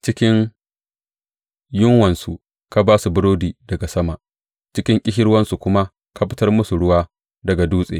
Cikin yunwansu ka ba su burodi daga sama, cikin ƙishirwansu kuma ka fitar musu ruwa daga dutse.